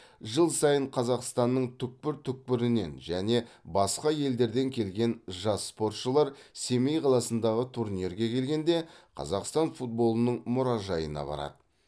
жыл сайын қазақстанның түкпір түкпірінен және басқа елдерден келген жас спортшылар семей қаласындағы турнирге келгенде қазақстан футболының мұражайына барады